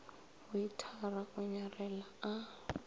weithara o nyarela a sa